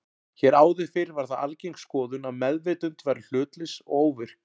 Hér áður fyrr var það algeng skoðun að meðvitund væri hlutlaus og óvirk.